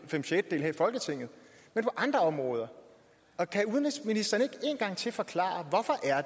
fem sjettedele her i folketinget men på andre områder kan udenrigsministeren ikke én gang til forklare hvorfor